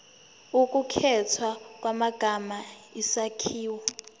ukukhethwa kwamagama isakhiwo